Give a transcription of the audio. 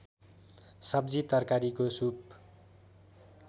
सब्जी तरकारीको सुप